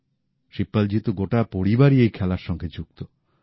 শিবপালজীর তো গোটা পরিবারই এই খেলার সঙ্গে যুক্ত